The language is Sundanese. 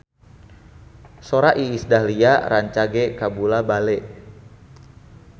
Sora Iis Dahlia rancage kabula-bale